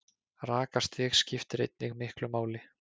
Rakastig skiptir einnig miklu máli.